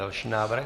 Další návrh.